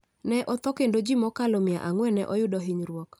ne otho kendo ji mokalo mia ang'wen ne oyudo hinyruok.